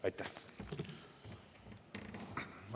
Aitäh!